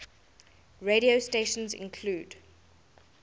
radio stations include